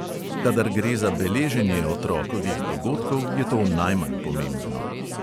Kadar gre za beleženje otrokovih dogodkov, je to najmanj pomembno.